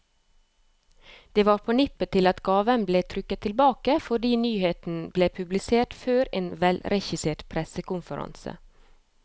Det var på nippet til at gaven ble trukket tilbake, fordi nyheten ble publisert før en velregissert pressekonferanse.